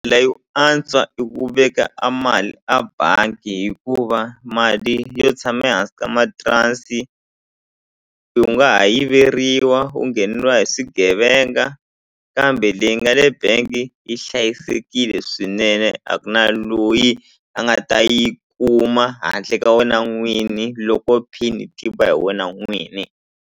yo antswa i ku veka a mali a bangi hikuva mali yo tshama ehansi ka matirasi u nga ha yiveriwa u ngheneriwa hi swigevenga kambe leyi nga le bank yi hlayisekile swinene a ku na loyi a nga ta yi kuma handle ka wena n'wini loko pin yi tiva hi wena n'wini.